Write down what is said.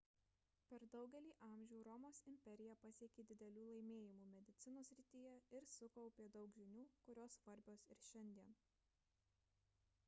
per daugelį amžių romos imperija pasiekė didelių laimėjimų medicinos srityje ir sukaupė daug žinių kurios svarbios ir šiandien